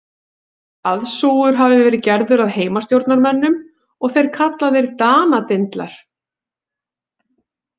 Aðsúgur hafi verið gerður að Heimastjórnarmönnum og þeir kallaðir Danadindlar.